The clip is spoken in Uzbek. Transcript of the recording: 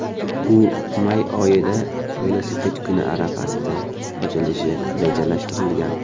U may oyida, Velosiped kuni arafasida, ochilishi rejalashtirilgan.